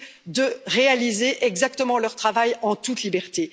de réaliser exactement leur travail en toute liberté.